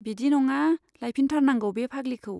बिदि नङा, लायफिनथारनांगौ बे फाग्लिखौ।